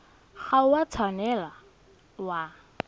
ga o a tshwanela wa